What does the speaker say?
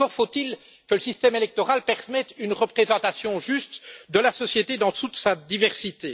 Encore faut il que le système électoral permette une représentation juste de la société dans toute sa diversité.